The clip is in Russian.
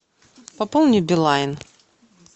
пополни билайн